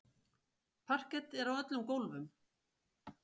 Parket er á öllum gólfum.